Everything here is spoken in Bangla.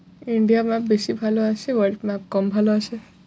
India map বেশি ভালো আসে world map কম ভালো আসে।